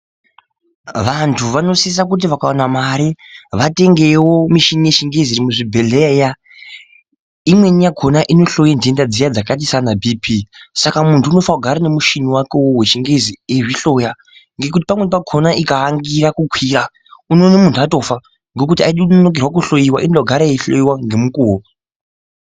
Vantu vanosisa kuti vakawana mare vatengewo mishini yechingezi iri muzvibhehleya iya. Imweni yakhona inohloya nhenda dzakaita sana bhipi Saka muntu unofana kugara nemushini wake wechingezi iwowo eizvihloya ngekuti pamweni pakhona ikaangira kukwira unoona muntu atofa ngekuti aidi kunonokerwa kuhloiwa inoda kugara yeihloyiwa ngemukuwo.